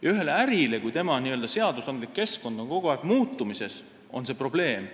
Aga ühele ärile on see, kui tema n-ö seadusandlik keskkond kogu aeg muutub, probleem.